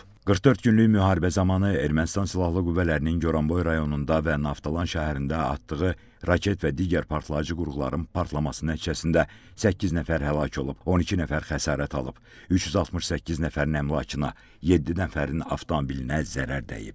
44 günlük müharibə zamanı Ermənistan Silahlı Qüvvələrinin Goranboy rayonunda və Naftalan şəhərində atdığı raket və digər partlayıcı qurğuların partlaması nəticəsində səkkiz nəfər həlak olub, 12 nəfər xəsarət alıb, 368 nəfərin əmlakına, yeddi nəfərin avtomobilinə zərər dəyib.